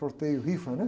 Sorteio, rifa, né?